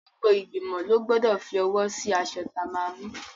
Gbogbo igbimo lọ gbọ́dọ̀ fi owó sí aṣọ tí a máa mú.